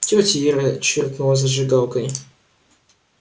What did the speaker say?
тётя ира чиркнула зажигалкой